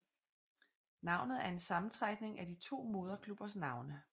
Navnet er en sammentrækning af de to moderklubbers navne